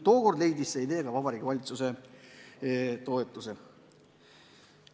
Tookord leidis see idee ka Vabariigi Valitsuse toetuse.